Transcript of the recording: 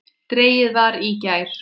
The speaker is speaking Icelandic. Dregið var í gær.